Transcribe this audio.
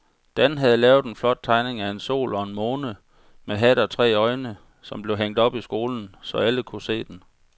Dan havde lavet en flot tegning af en sol og en måne med hat og tre øjne, som blev hængt op i skolen, så alle kunne se den.